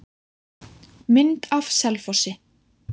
Mynd af Selfossi.